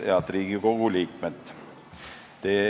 Head Riigikogu liikmed!